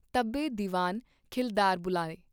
ਤਬੇ ਦਿਵਾਨ ਖਿਲਦਾਰ ਬੁਲਾਏ।